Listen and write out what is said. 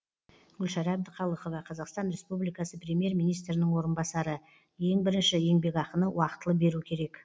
гүлшара әбдіқалықова қазақстан республикасы премьер министрінің орынбасары ең бірінші еңбекақыны уақытылы беру керек